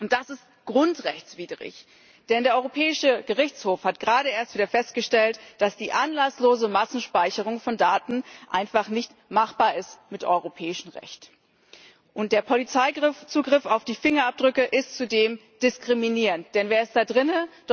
Das ist grundrechtswidrig, denn der Europäische Gerichtshof hat gerade erst wieder festgestellt, dass die anlasslose Massenspeicherung von Daten mit europäischem Recht einfach nicht machbar ist. Der Polizeizugriff auf die Fingerabdrücke ist zudem diskriminierend, denn wer ist da drinnen?